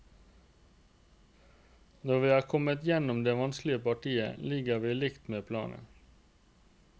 Når vi er kommet gjennom det vanskelige partiet, ligger vi likt med planen.